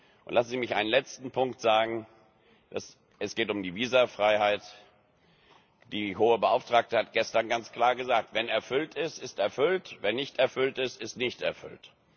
Lassen Sie mich noch einen letzten Punkt sagen, es geht um die Visafreiheit Die Hohe Beauftragte hat gestern ganz klar gesagt Wenn erfüllt ist, ist erfüllt, wenn nicht erfüllt ist, ist nicht erfüllt!